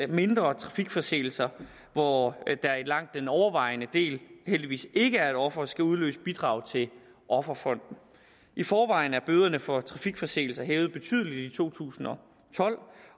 mindre trafikforseelser hvor der i langt den overvejende del heldigvis ikke er et offer skal udløse bidrag til offerfonden i forvejen er bøderne for trafikforseelser hævet betydeligt i to tusind og tolv